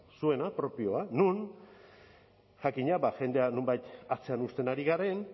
zuena propioa non jakina jendea nonbait atzean uzten ari garen